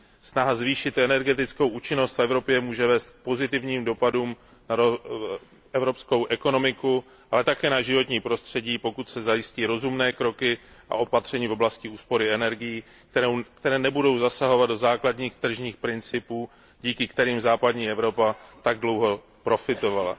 Snaha zvýšit energetickou účinnost v Evropě může vést k pozitivním dopadům na evropskou ekonomiku, ale také na životní prostředí, pokud se zajistí rozumné kroky a opatření v oblasti úspory energií, které nebudou zasahovat do základních tržních principů, ze kterých západní Evropa tak dlouho profitovala.